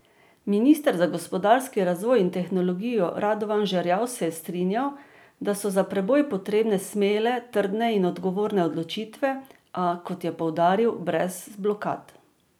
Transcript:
Minister za gospodarski razvoj in tehnologijo Radovan Žerjav se je strinjal, da so za preboj potrebne smele, trdne in odgovorne določitve, a, kot je poudaril, brez blokad.